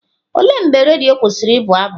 Olee mgbe redio kwụsịrị ịbụ abụ?